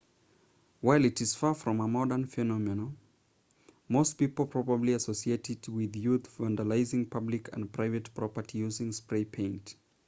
while it's far from a modern phenomenon most people probably associate it with youth vandalizing public and private property using spray paint